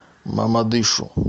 мамадышу